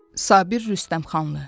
Sabir Rüstəmxanlı.